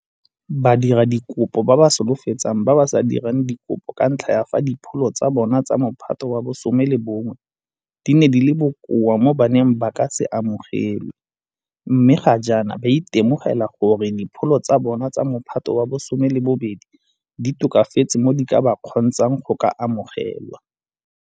Badiradikopo ba ba solofetsang ba ba sa dirang dikopo ka ntlha ya fa dipholo tsa bona tsa Mophato wa bo 11 di ne di le bokoa mo ba neng ba ka se amogelwe mme ga jaana ba itemogela gore dipholo tsa bona tsa Mophato wa bo 12 di tokafetse mo di ka ba kgontshang go ka amogelwa.